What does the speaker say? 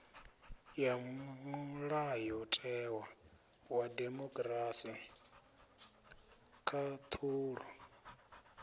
ya mulayotewa wa demokirasi khaṱhulo